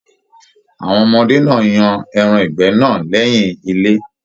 Awọn ọmọdé náà yan ẹran ìgbẹ́ náà lẹyìn ilé.